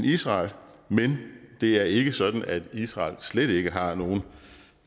israel men det er ikke sådan at israel slet ikke har nogen